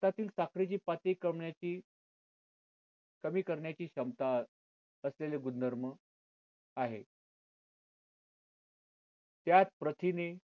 रक्तातील साखरेची पातळी करण्याची कमी करण्याची क्षमता असलेले गुणधर्म आहे त्यात प्रथिने